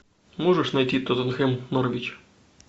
можешь найти тоттенхэм норвич